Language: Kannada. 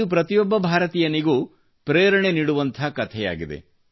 ಇದು ಪ್ರತಿಯೊಬ್ಬ ಭಾರತೀಯನಿಗೂ ಪ್ರೇರಣೆ ನೀಡುವಂಥ ಕಥೆಯಾಗಿದೆ